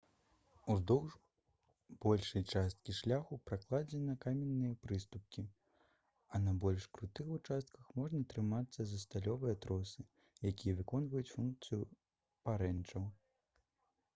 уздоўж большай часткі шляху пракладзены каменныя прыступкі а на больш крутых участках можна трымацца за сталёвыя тросы якія выконваюць функцыю парэнчаў